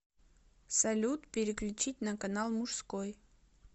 салют переключить на канал мужской